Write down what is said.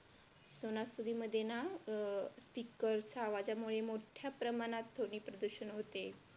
सणासुदीमध्ये ना अं आवाजामुळे मोठ्या प्रमाणात ध्वनी प्रदूषण होते.